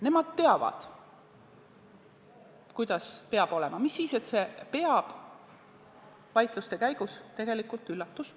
Nemad teavad, kuidas peab olema, mis siis, et see vaidluste käigus tegelikult – üllatus!